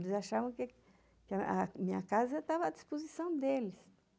Eles achavam que a minha casa estava à disposição deles.